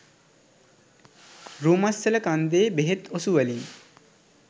රූමස්සල කන්දේ බෙහෙත් ඔසුවලින්